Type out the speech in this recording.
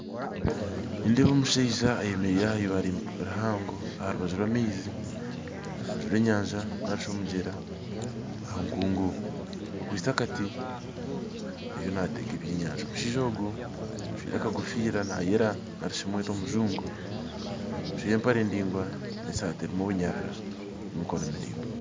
Nindeeba omushaija ayemeraire aha ibaale rihango aha rubaju rw'amaizi, aharubaju rw'enyanja narishi omugyera ahankungu akwitse akati ariyo natega ebyenyanja, omushaija ogu ajwaire akakofiira nayera narishi mwete omujungu ajwaire empare ningwa n'esaati erimu obunyarara ya emikono miraingwa.